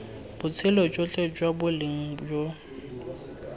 botshelo jotlhe jwa boleng jo